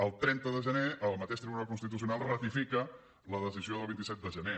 el trenta de gener el mateix tribunal constitucional ratifica la decisió del vint set de gener